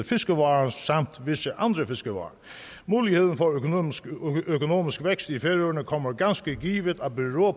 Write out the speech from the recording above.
fiskevarer samt visse andre fiskevarer muligheden for økonomisk økonomisk vækst i færøerne kommer ganske givet